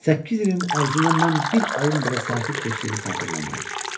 Səkkiz ilin ərzində mən bir ayım belə sakit keçdiyini xatırlamıram.